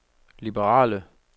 liberale